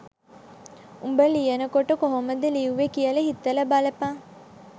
උඹ ලියනකොට කොහොමද ලිව්වෙ කියල හිතල බලපන්